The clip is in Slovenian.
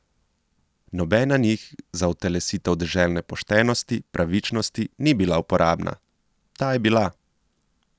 Nobena njih za utelesitev deželne poštenosti, pravičnosti, ni bila uporabna, ta je bila.